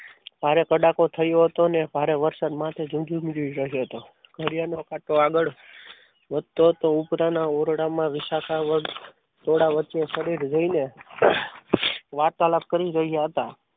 ભારે કડાકો થયો હતો અને ભારે વરસાદ માંથ જજુમી રહ્યો હતો ઘડિયાળ નો કાંટો આગળ વધતો તો ઉપરના ઓરડામાં વિશાખા વર્ગ થોડા વચ્ચે જોઈને વાર્તાલાપ કરી રહ્યા હતા.